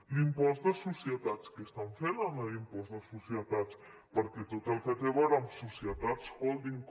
l’impost de societats què estan fent amb l’impost de societats perquè tot el que té a veure amb societats holding